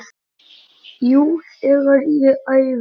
Jú, þegar ég æfi.